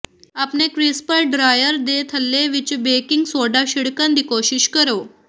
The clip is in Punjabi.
ਆਪਣੇ ਕ੍ਰਿਸਪਰ ਡ੍ਰਾਅਰ ਦੇ ਥੱਲੇ ਵਿਚ ਬੇਕਿੰਗ ਸੋਡਾ ਛਿੜਕਣ ਦੀ ਕੋਸ਼ਿਸ਼ ਕਰੋ